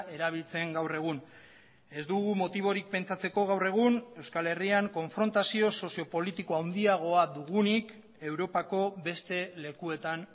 erabiltzen gaur egun ez dugu motiborik pentsatzeko gaur egun euskal herrian konfrontazio sozio politiko handiagoa dugunik europako beste lekuetan